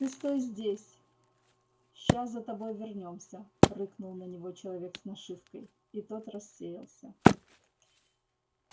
ты стой здесь ща за тобой вернёмся рыкнул на него человек с нашивкой и тот рассеялся